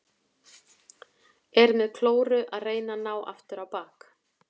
Er með klóru að reyna að ná aftur á bak.